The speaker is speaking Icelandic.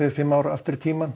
fimm ár aftur í tímann